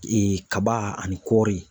Ee kaba ani kɔɔri